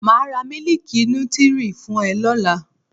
Màá ra Mílíkì nutri fún ẹ lọ́la.